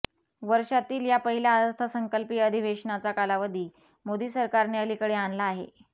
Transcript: वर्षातील या पहिल्या अर्थसंकल्पीय अधिवेशनाचा कालावधी मोदी सरकारने अलीकडे आणला आहे